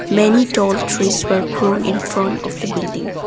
many tall trees were grown in front of the building.